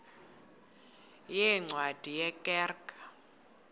yeencwadi ye kerk